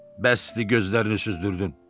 Bəsdir, gözlərini süzdürdün.